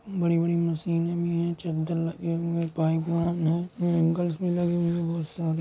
बड़ी-बड़ी मशीनें भी हैं चद्दर लगे हुए हैं पाइप लाइन है ऐंगल्स भी लगे हुए हैं बोहोत सारे।